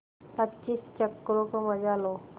पच्चीस चक्करों का मजा लो